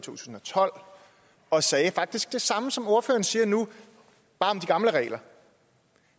tusind og tolv og sagde faktisk det samme som ordføreren siger nu bare om de gamle regler